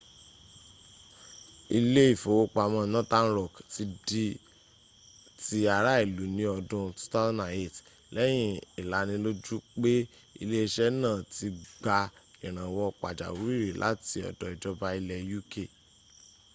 ilé ìfowópamọ́ northern rock ti di ti ará ìlú ní ọdún 2008 lẹ́yìn ìlanilójú pé iléẹṣẹ́ náà ti gba ìrànwọ́ pàjáwìrì láti ọ̀dọ̀ ìjọba ilẹ̀ uk